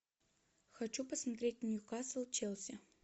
хочу посмотреть ньюкасл челси